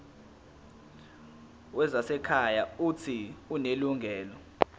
wezasekhaya uuthi unelungelo